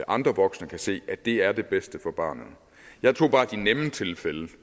andre voksne kan se at det er det bedste for barnet jeg tog bare de nemme tilfælde